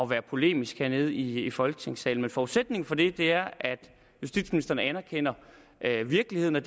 være polemisk hernede i folketingssalen men forudsætningen for det er at justitsministeren anerkender virkeligheden og